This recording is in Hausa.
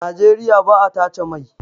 Nageriya ba a tace mai